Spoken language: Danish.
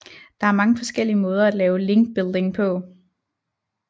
Der er mange forskellige måder at lave linkbuilding på